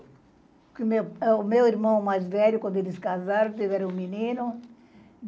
Porque o meu irmão mais velho, quando eles casaram, tiveram um menino.